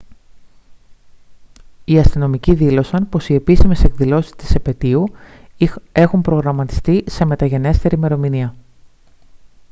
οι αστυνομικοί δήλωσαν πως οι επίσημες εκδηλώσεις της επετείου έχουν προγραμματιστεί σε μεταγενέστερη ημερομηνία